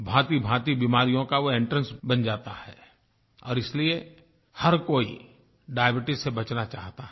भांतिभांति बीमारियों का वो एंट्रेंस बन जाता है और इसलिए हर कोई डायबीट्स से बचना चाहता है